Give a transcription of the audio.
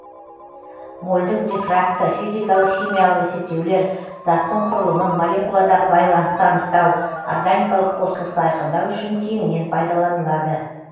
мольдік рефракция физикалық химиялық есептеулер заттың құрылымын молекуладағы байланысты анықтау органикалық қосылысты айқындау үшін кеңінен пайдаланылады